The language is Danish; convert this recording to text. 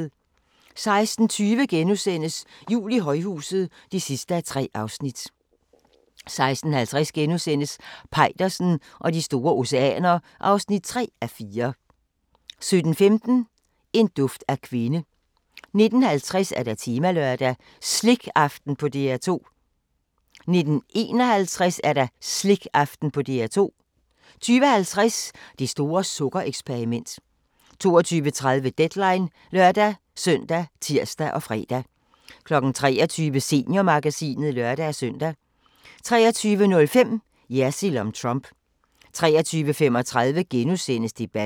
16:20: Jul i højhuset (3:3)* 16:50: Peitersen og de store oceaner (3:4)* 17:15: En duft af kvinde 19:50: Temalørdag: Slikaften på DR2 19:51: Slikaften på DR2 20:50: Det store sukker-eksperiment 22:30: Deadline (lør-søn og tir-fre) 23:00: Seniormagasinet (lør-søn) 23:05: Jersild om Trump 23:35: Debatten *